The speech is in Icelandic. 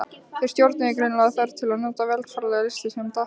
Þeir stjórnuðust greinilega af þörf til að njóta veraldlegra lystisemda.